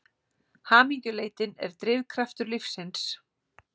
Hamingjuleitin er drifkraftur lífsins.